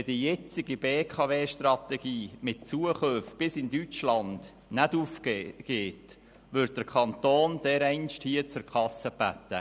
Wenn die jetzige BKW-Strategie mit Zukäufen bis nach Deutschland nicht aufgeht, würde der Kanton dereinst zur Kasse gebeten.